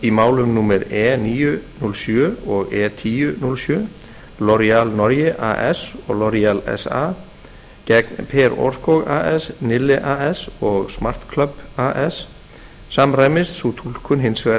í málum númer e níu núll sjö og e tíu núll sjö norge as og sa gegn per aarskog as nille as og smart as samræmist sú túlkun hins vegar